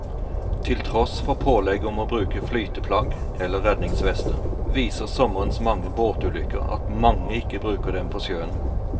Til tross for pålegg om å bruke flyteplagg eller redningsvester, viser sommerens mange båtulykker at mange ikke bruker dem på sjøen.